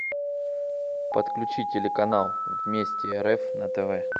подключи телеканал вместе рф на тв